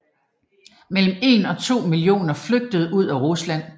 Mellem 1 og 2 millioner flygtede ud af Rusland